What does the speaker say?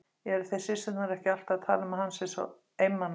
Eruð þið systurnar ekki alltaf að tala um að hann sé einmana?